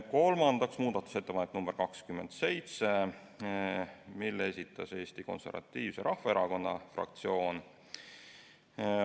Kolmandaks, muudatusettepanek nr 27, mille esitas Eesti Konservatiivse Rahvaerakonna fraktsioon.